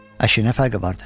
Əşi, nə fərqi vardı?